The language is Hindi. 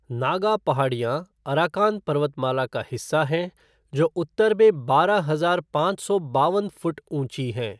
नागा पहाड़ियाँ अराकान पर्वतमाला का हिस्सा हैं, जो उत्तर में बारह हजार पाँच सौ बावन फ़ुट ऊँची हैं।